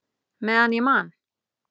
Meðan ég man!